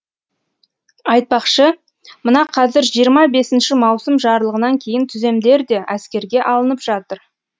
айтпақшы мына қазір жиырма бесінші маусым жарлығынан кейін түземдер де әскерге алынып жатыр